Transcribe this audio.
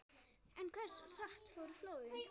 En hversu hratt fóru flóðin?